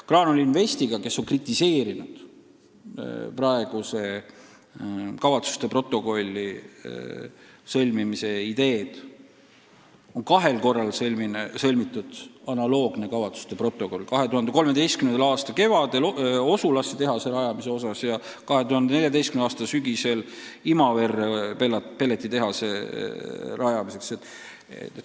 Graanul Investiga, kes on kritiseerinud praeguse kavatsuste protokolli koostamise ideed, on kahel korral alla kirjutatud analoogne kavatsuste protokoll: 2013. aasta kevadel Osulasse tehase rajamiseks ja 2014. aasta sügisel Imaverre pelletitehase rajamiseks.